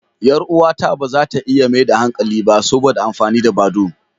Yar uwata ba za ta iya maida hankali ba saboda amfani da badoo.